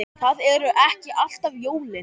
Það eru ekki alltaf jólin.